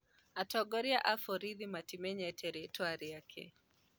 Atongoria a vorithi matimenyete rĩĩtwa rĩake.